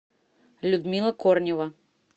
людмила корнева